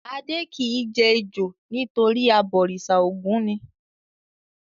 Adé kì í jẹ ejò nítorí abọ̀rìṣà Ògún ni.